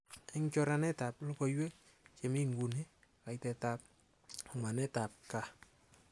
Eng choranetab logoiwek chemi nguni, kaitetab somanetab gaa